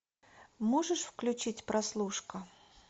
можешь включить прослушка